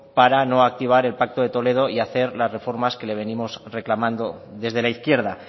para no activar el pacto de toledo y hacer las reformas que le venimos reclamando desde la izquierda